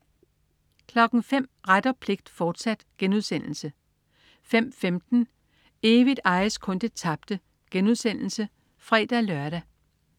05.00 Ret og pligt, fortsat* 05.15 Evigt ejes kun det tabte* (fre-lør)